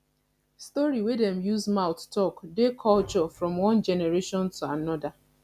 story wey dem use mouth talk dey culture from one generation to anoda